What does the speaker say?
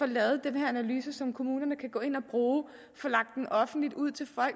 lavet den her analyse som kommunerne kan gå ind at bruge få lagt den offentligt ud